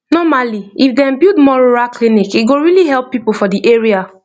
normally if dem build more rural clinic e go really help people for the area